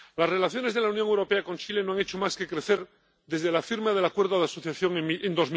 Las relaciones de la Unión Europea con Chile no han hecho más que crecer desde la firma del Acuerdo de Asociación en